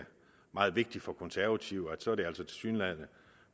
meget vigtigt for de konservative så er det altså tilsyneladende